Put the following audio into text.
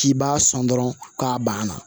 K'i b'a sɔn dɔrɔn k'a banna